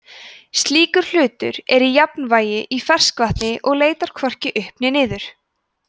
slíkur hlutur er í jafnvægi í ferskvatni og leitar hvorki upp né niður